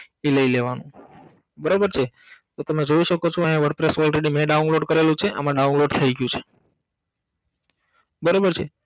ઇ લઈ લેવાનું બરોબર છે તો તમે જોઈ સકો છો આયા wordpress already મે download કરેલું છે આમાં download થઈ ગયું છે બરોબર છે